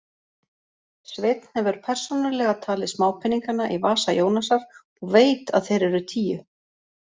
Sveinn hefur persónulega talið smápeningana í vasa Jónasar og veit að þeir eru tíu.